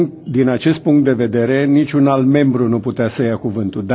Din acest punct de vedere, niciun alt membru nu putea să ia cuvîntul.